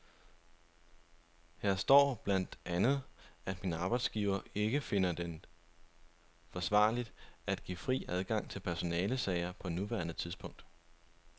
Her står blandt andet, at min arbejdsgiver ikke finder det forsvarligt at give fri adgang til personalesager på nuværende tidspunkt.